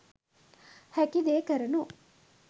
හැකිදේ කරනු .